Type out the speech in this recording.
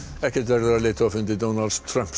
ekkert verður af leiðtogafundi Donalds Trump